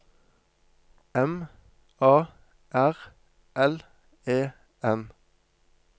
M A R L E N